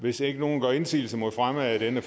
hvis ikke nogen gør indsigelse mod fremme af denne